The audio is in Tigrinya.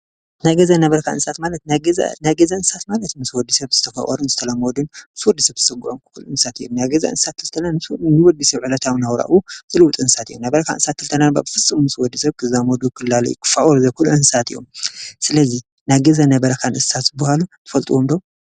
ናይ ገዛን ናይ በረኻን እንስሰሳት ማለት ናይ ገዛ እንስሳት ማለት ምስ ሰብ ተፋቀሩን ዝተላመዱን ሶስት ስገኦም እንስሳት እዮም። ናይ ገዛ እንስሳት ምስ ዕለታዊ ነብራኡ ዝረኣዩ እንስሳት እዮም። ምስ ወዲ ሰብ ክዛመደዱ ክላለዩ ክፋቀሩ ዝክክእሉ እንስሳት እዮም። ስለዚ ናይ ገዛን ናይ በረካን እነስሳተ ዝባሃሉ ትፈልጥዎም ዶ?